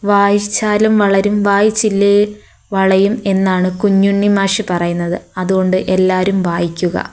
വായിച്ചാലും വളരും വായിച്ചില്ലേ വളയും എന്നാണ് കുഞ്ഞുണ്ണി മാഷ് പറയുന്നത് അതുകൊണ്ട് എല്ലാവരും വായിക്കുക.